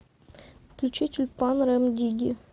включи тюльпан рем дигги